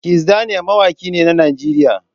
Kizz daniel mawaki ne a Najeriya.